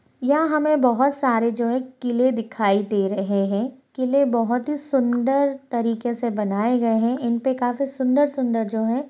यहाँ हमें बहुत सारे जो हैं किले दिखाई दे रहे हैं किले बहुत ही सुंदर तरीके से बनाए गए हैं इन पर काफी सुंदर-सुंदर जो है --